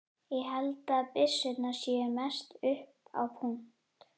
Ég held að byssurnar séu mest upp á punt.